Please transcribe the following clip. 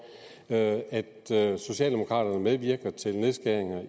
at at socialdemokraterne medvirker til nedskæringer